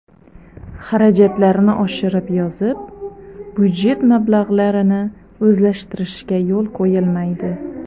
Xarajatlarni oshirib yozib, budjet mablag‘larini o‘zlashtirishga yo‘l qo‘yilmaydi.